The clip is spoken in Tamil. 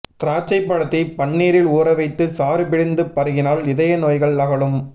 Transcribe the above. திராட்சைப் பழத்தை பன்னீரில் ஊறவைத்துச் சாறு பிழிந்து பருகினால் இதயநோய்கள் அகலும்